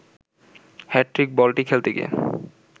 hat trick বলটি খেলতে গিয়ে